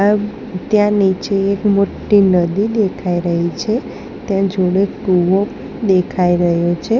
ત્યાં નીચે એક મોટી નદી દેખાઈ રહી છે ત્યાં જુનો એક કુવો દેખાઈ રહ્યો છે.